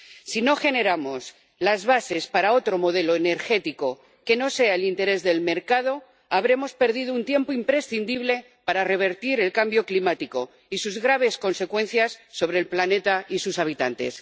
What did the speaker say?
Si no generamos las bases para otro modelo energético que no sea el interés del mercado, habremos perdido un tiempo imprescindible para revertir el cambio climático y sus graves consecuencias sobre el planeta y sus habitantes.